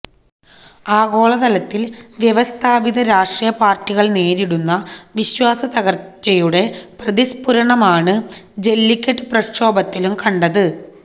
ആഗോളതലത്തില് വ്യവസ്ഥാപിത രാഷ്ട്രീയ പാര്ട്ടികള് നേരിടടുന്ന വിശ്വാസത്തകര്ച്ചയുടെ പ്രതിസ്ഫുരണമാണ് ജെല്ലിക്കെട്ട് പ്രക്ഷോഭത്തിലും കണ്ടത്